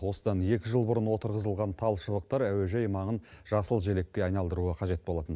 осыдан екі жыл бұрын отырғызылған тал шыбықтар әуежай маңын жасыл желекке айналдыруы қажет болатын